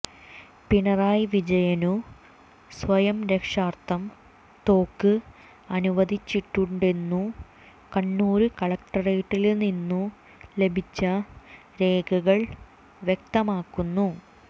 പിണറായി വിജയനു സ്വയരക്ഷാര്ഥം തോക്ക് അനുവദിച്ചിട്ടുണ്ടെന്നു കണ്ണൂര് കലക്ടറേറ്റില്നിന്നു ലഭിച്ച രേഖകൾ വ്യക്തമാക്കുന്നു